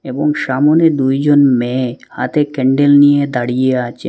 এবং সামনে দুইজন মেয়ে হাতে ক্যান্ডেল নিয়ে দাঁড়িয়ে আছেন।